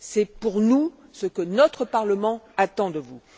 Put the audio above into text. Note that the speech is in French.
C'est, pour nous, ce que notre Parlement attend de vous.